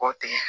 K'o tigɛ